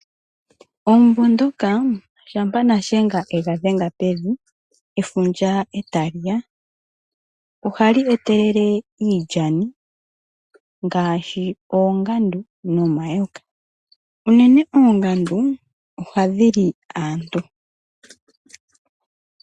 Omumvo ngoka shampa nashenga egadhenga pevi efundja etaliya, ohali etelele iilyani ngaashi oongandu nomayoka unene oongandu ohadhili aantu.